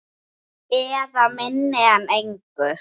Eða minna en engu.